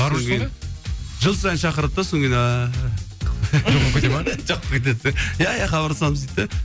жыл сайын шақырады да сонан кейін жоқ болып кетеді иә иә хабарласамыз дейді де